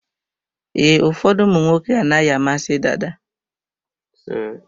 Ee, ụfọdụ ụmụnwoke anaghị amasị dada.